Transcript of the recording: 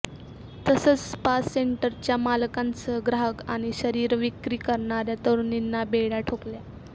तसंच स्पा सेंटरच्या मालकासह ग्राहक आणि शरीरविक्री करणाऱ्या तरुणींना बेड्या ठोकल्या